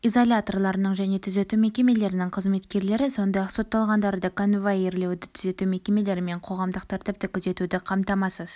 изоляторларының және түзету мекемелерінің қызметкерлері сондай-ақ сотталғандарды конвоирлеуді түзету мекемелері мен қоғамдық тәртіпті күзетуді қамтамасыз